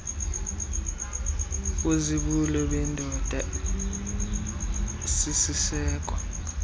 wobuzibulo bendoda usisiseko